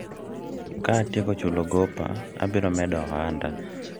ka atieko chulo gopa, abiro medo ohanda